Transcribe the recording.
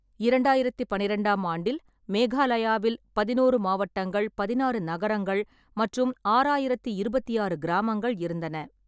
இரண்டாயிரத்து பன்னிரெண்டாம் ஆண்டில், மேகாலயாவில் பதினோரு மாவட்டங்கள், பதினாறு நகரங்கள் மற்றும் ஆறாயிரத்தி இருபத்தி ஆறு கிராமங்கள் இருந்தன.